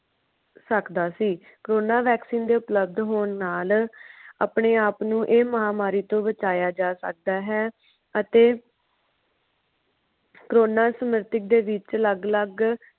ਸਕਦਾ ਸੀ corona vaccine ਦੇ ਉਪਲਵਧ ਹੋਣ ਨਾਲ ਆਪਣੇ ਆਪ ਨੂੰ ਇਹ ਮਹਾਮਾਰੀ ਤੋਂ ਬਚਾਇਆ ਜਾ ਸਕਦਾ ਹੈ ਅਤੇ corona ਸਮ੍ਰਤਿਕ ਦੇ ਵਿਚ ਅਲੱਗ-ਅਲੱਗ।